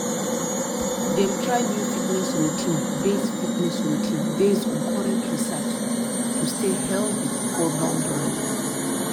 dem try new fitness routine based fitness routine based on current research to stay healthy for long run.